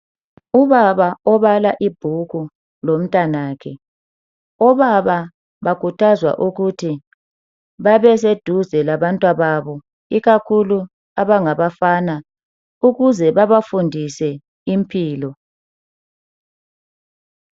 Ubaba obala ibhuku lomtanakhe. Obaba bakhuthazwa ukuthi babeseduze labantwababo ikakhulu abangabafana ukuze babafundise impilo